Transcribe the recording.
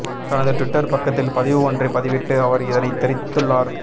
தனது டுவிட்டர் பக்கத்தில் பதிவு ஒன்றை பதிவிட்டு அவர் இதனைத் தெரிவித்துள்ளார்